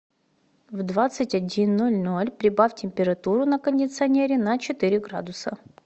в двадцать один ноль ноль прибавь температуру на кондиционере на четыре градуса